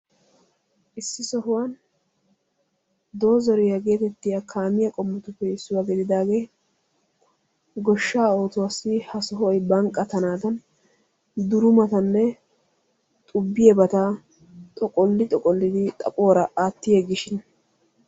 Issi sohuwan dozariya getettiya kaamiya qommotuppe issuwa gididaage goshsha oosuwassi ha sohoy banqqatanadan durumattanne xubbiyabata xoqqoli xoqqolidi xaphuwaara aatti yeggishin..